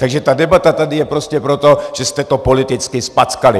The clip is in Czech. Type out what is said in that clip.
Takže ta debata tady je prostě proto, že jste to politicky zpackali!